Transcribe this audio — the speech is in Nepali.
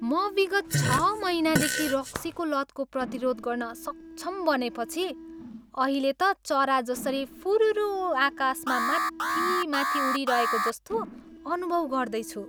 म विगत छ महिनादेखि रक्सीको लतको प्रतिरोध गर्न सक्षम बनेपछि अहिले त चरा जसरी फुर्रर आकाशमा माथि माथि उडिरहेको जस्तो अनुभव गर्दैछु।